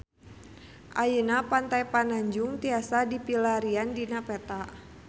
Ayeuna Pantai Pananjung tiasa dipilarian dina peta